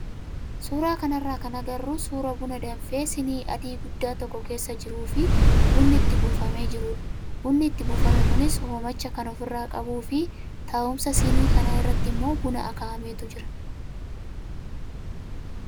Suuraa kanarraa kan agarru suuraa buna danfee siinii adii guddaa tokko keessa jiruu fi bunni itti buufamee jirudha. Bunni itti buufame kunis hoomacha kan ofirraa qabuu fi taa'umsa siinii kanaa irratti immoo buna akaa'ametu jira.